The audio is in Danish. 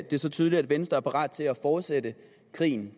det så tydeligt at venstre er parat til at fortsætte krigen